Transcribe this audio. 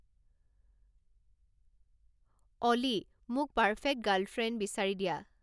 অ'লি, মোক perfect girlfriend বিচাৰি দিয়া